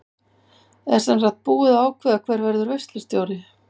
Er semsagt búið að ákveða hver verður veislustjóri?